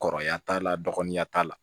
Kɔrɔya t'a la dɔgɔninya t'a la